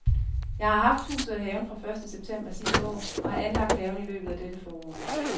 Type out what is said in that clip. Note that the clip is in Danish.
Jeg har haft huset og haven fra første september sidste år og har anlagt haven i løbet af dette forår.